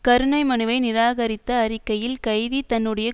கருணை மனுவை நிராகரித்த அறிக்கையில் கைதி தன்னுடைய